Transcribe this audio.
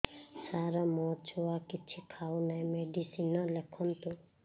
ସାର ମୋ ଛୁଆ କିଛି ଖାଉ ନାହିଁ ମେଡିସିନ ଲେଖନ୍ତୁ